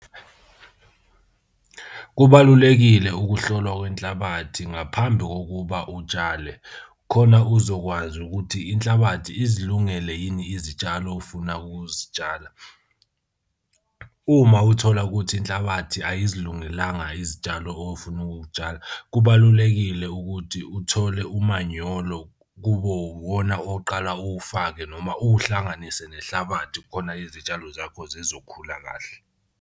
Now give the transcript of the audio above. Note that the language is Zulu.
Kubalulekile ukuhlolwa kwenhlabathi ngaphambi kokuba utshale khona uzokwazi ukuthi inhlabathi ezilungele yini izitshalo ofuna ukuzitshala. Uma uthola ukuthi inhlabathi ayizilungelanga izitshalo ofuna ukutshala, kubalulekile ukuthi uthole umanyolo kube uwona oqala uwufake noma uwuhlanganise nenhlabathi khona izitshalo zakho zizokhula kahle.